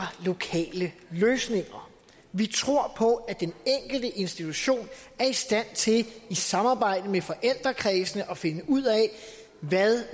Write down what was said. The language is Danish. lokale løsninger vi tror på at den enkelte institution er i stand til i samarbejde med forældrekredsene at finde ud af hvad